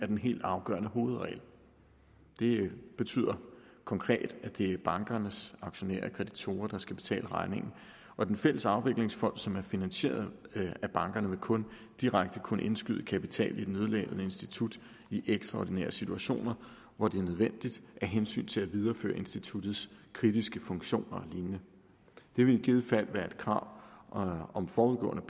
den helt afgørende hovedregel det betyder konkret at det er bankernes aktionærer og kreditorer der skal betale regningen og den fælles afviklingsfond som er finansieret af bankerne vil kun direkte kunne indskyde kapital i et nødlidende institut i ekstraordinære situationer hvor det er nødvendigt af hensyn til at videreføre instituttets kritiske funktioner og lignende det ville i givet fald være et krav om forudgående